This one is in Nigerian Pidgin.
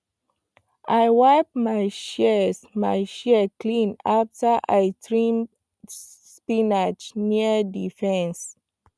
i wipe my shears my shears clean after i trim spinach near the fence